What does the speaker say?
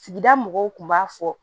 Sigida mɔgɔw kun b'a fɔ